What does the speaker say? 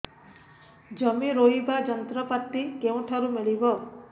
ଜମି ରୋଇବା ଯନ୍ତ୍ରପାତି କେଉଁଠାରୁ ମିଳିବ